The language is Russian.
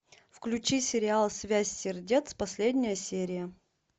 включи сериал связь сердец последняя серия